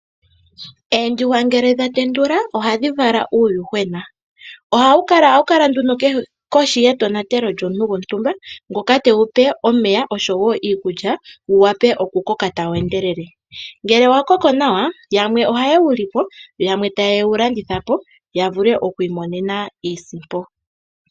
Oondjuhwa ngele dha tendula ohadhi vala uuyuhwena. Ohawu kala nduno kohi yetonatelo lyomuntu gontumba ngoka tewupe omeya oshowo iikulya wu wape oku koka tawu endelele. Ngele wa koko nawa yamwe ohaye wu lipo, yamwe tayewu landitha po ya vule oku imonena iisimpo.